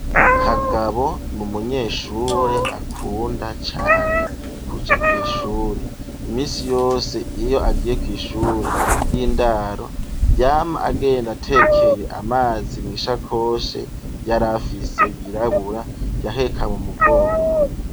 Kagabo ni umunyeshure akunda cane kuja kw'ishure ,imisi yose iyo agiye kw' ishure ry'indaro yama agenda atekeye amazi mw'isakoshe yarafise yirabura yaheka mu mugongo.